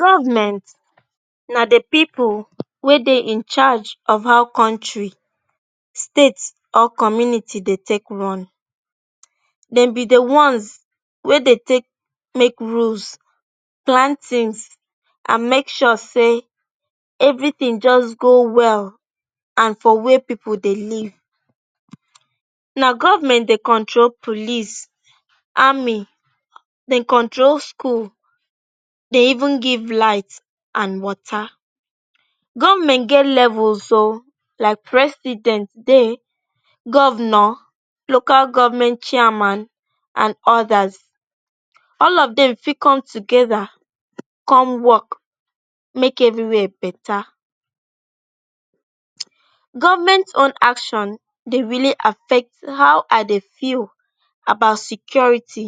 Govment na di pipu wey dey in charge of how kontri, state or community dey take run. Dem be di ones wey dey take make roads, plantins and make sure say evritin just go well and for wia pipu dey live. Na govment dey control police, army, dey control school, dey even give light and wata. Govment get level so like President dey, govnor, local govment chairman and odas. All of dem fit come togeda come wok make evriwia betta. Govment own action dey really affect how I dey feel about security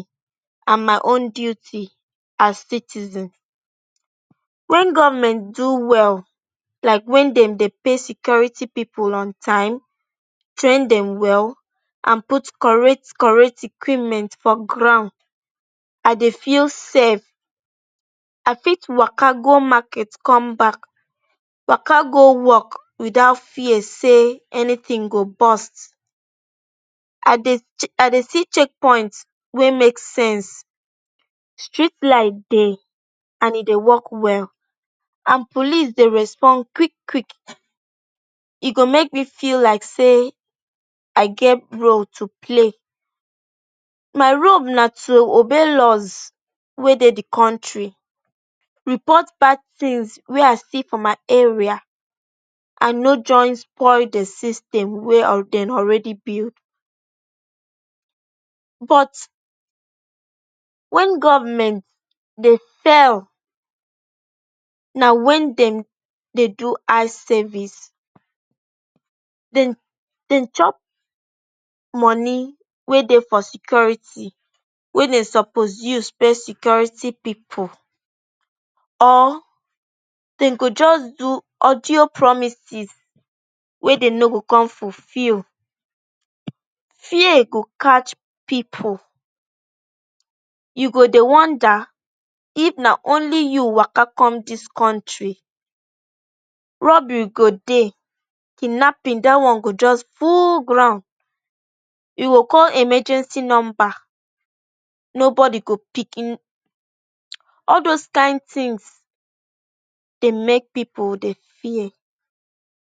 and my own duty as citizen. Wen govment do well like wen dem dey pay security pipu on time, train dem well and put correct correct equipment for ground, I dey feel safe. I fit waka go market come back, waka go wok witout fear say anytin go burst. I dey, I dey see checkpoint wey make street light dey and e dey wok well and police dey respond quick quick. E go make me feel like say I get role to play. My role na to obey laws wey dey di kontri, report bad tins wey I see for my area and no join spoil di system wey dem already build. But wen govment dey fail, na wen dem dey do eye service, dem chop money wey dey for security wey dem suppose use pay security pipu or dem go just do audio promises wey dem no go come fulfill. Fear go catch pipu, you go dey wonder if na only you waka come dis kontri. Robbery go dey, kidnapping dey, one go just full ground, you go call emergency numba nobody go pick in. All dose kain tins dey make pipu dey fear.